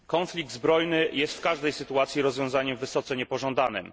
Konflikt zbrojny jest w każdej sytuacji rozwiązaniem wysoce niepożądanym.